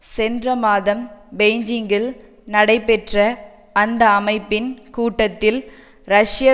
சென்ற மாதம் பெய்ஜிங்கில் நடைபெற்ற அந்த அமைப்பின் கூட்டத்தில் ரஷ்ய